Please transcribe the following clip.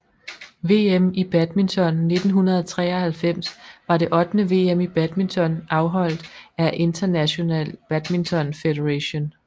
VM i badminton 1993 var det ottende VM i badminton afholdt af International Badminton Federation